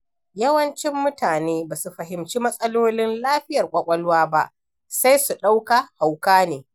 Yawancin mutane ba su fahimci matsalolin lafiyar kwakwalwa ba, sai su ɗauka hauka ne.